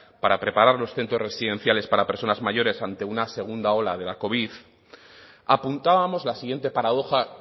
para preparar los centros residenciales para personas mayores ante una segunda ola de la covid apuntábamos la siguiente paradoja